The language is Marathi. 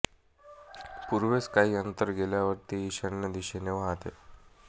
पूर्वेस काही अंतर गेल्यावर ती ईशान्य दिशेने वाहते